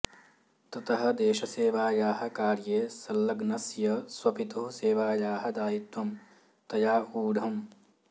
ततः देशसेवायाः कार्ये सल्लग्नस्य स्वपितुः सेवायाः दायित्वं तया ऊढम्